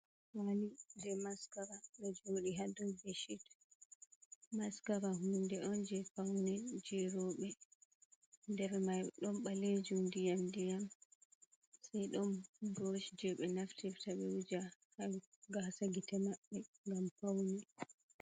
Mali je maskara do jodi ha dau bedshit mascara hunde on je paune je robe nder mai don balejum diyam diyam sei don brush je be naftirta be wuja ha gasa gite mabbe gam paune.